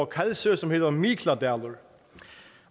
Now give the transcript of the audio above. kalsoy som hedder mikladalur